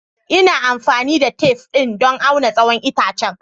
Ina amfani da tef ɗin don auna tsawon itacen.